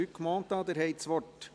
Luc Mentha, Sie haben das Wort.